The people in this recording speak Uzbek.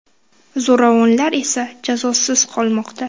Zo‘ravonlar esa jazosiz qolmoqda.